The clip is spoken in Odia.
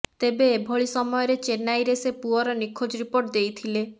ତେବେ ଏଭଳି ସମୟରେ ଚେନ୍ନାଇରେ ସେ ପୁଅର ନିଖୋଜ ରିପୋର୍ଟ ଦେଇଥିଲେ